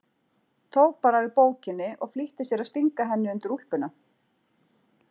Tók bara við bókinni og flýtti sér að stinga henni undir úlpuna.